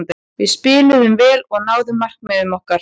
Við spiluðum vel og náðum markmiðum okkar.